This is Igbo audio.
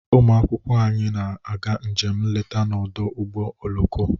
Ụmụ akwụkwọ anyị na-aga njem nleta n'ọdụ ụgbọ oloko.